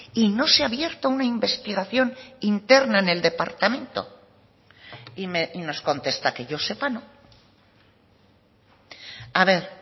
y no se ha abierto una investigación interna en el departamento y nos contesta que yo sepa no a ver